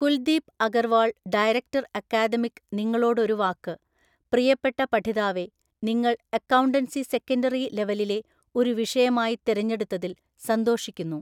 Kuldeep Agarwal director academic നിങ്ങളോടൊരു വാക്ക് പ്രിയപ്പെട്ട പഠിതാവെ നിങ്ങൾ അക്കൗണ്ടൻസി സെക്കൻണ്ടറി ലെവലിലെ ഒരു വിഷയമായി തെരഞ്ഞെടുത്തതിൽ സ ന്തോഷിക്കുന്നു.